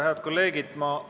Head kolleegid!